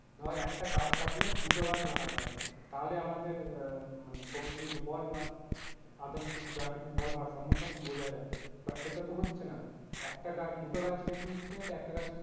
ধর একটা গাছ কাটলে দুটো গাছ লাগাতে হবে তাহলে আমাদের আহ মানে প্রকৃতি বল বা others যা কিছু বল ভারসাম্য সব বজায় রাখবে but সেটা তো হচ্ছে না একটা গাছ দুটো গাছ কেটে নিচ্ছে তো একটা গাছ,